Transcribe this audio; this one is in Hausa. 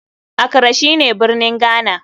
Accra shine birnin Ghana.